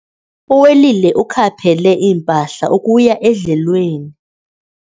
Uwelile ukhaphele impahla ukuya edlelweni.